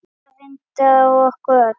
Þetta reyndi á okkur öll.